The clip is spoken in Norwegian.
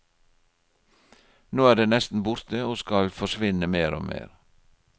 Nå er det nesten borte og skal forsvinne mer og mer.